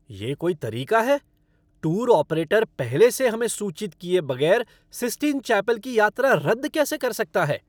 ये कोई तरीका है! टूर ऑपरेटर पहले से हमें सूचित किए बगैर सिस्टिन चैपल की यात्रा रद्द कैसे कर सकता है?